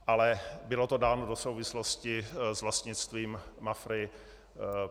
Ale bylo to dáno do souvislosti s vlastnictvím Mafry.